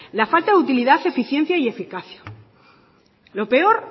la falta de utilidad de eficiencia y eficacia lo peor